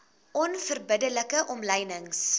onverbidde like omlynings